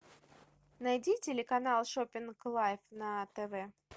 найди телеканал шопинг лайф на тв